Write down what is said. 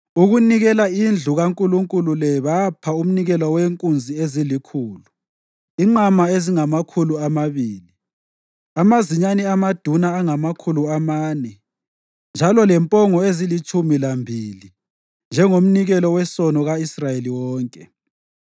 Ukunikela indlu kaNkulunkulu le bapha umnikelo wenkunzi ezilikhulu, inqama ezingamakhulu amabili, amazinyane amaduna angamakhulu amane njalo lempongo ezilitshumi lambili njengomnikelo wesono ka-Israyeli wonke.